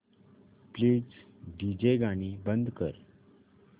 please DJ गाणी बंद कर